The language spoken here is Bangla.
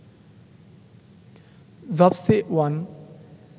jobs A one